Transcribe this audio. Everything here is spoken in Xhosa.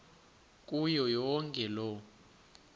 kuyo yonke loo